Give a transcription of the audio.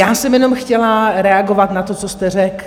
Já jsem jenom chtěla reagovat na to, co jste řekl.